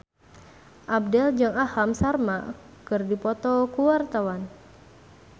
Abdel jeung Aham Sharma keur dipoto ku wartawan